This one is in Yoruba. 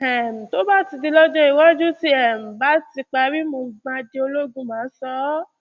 um tó bá di lọjọ iwájú tí um mo bá parí tí mo di ológun mà á sọ ọ